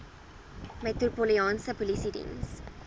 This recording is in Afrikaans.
metropolitaanse polisie diens